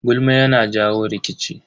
Gulma yana jawo rikici.